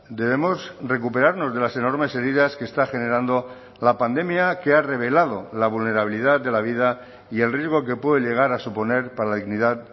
debemos recuperarnos de las enormes heridas que está generando la pandemia que ha revelado la vulnerabilidad de la vida y el riesgo que puede llegar a suponer para la dignidad